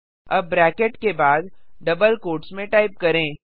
अब ब्रैकेट के बाद डबल क्वोट्स में टाइप करें